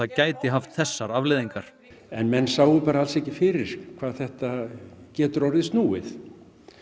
gæti haft þessar afleiðingar menn sáu bara alls ekki fyrir hvað þetta getur orðið snúið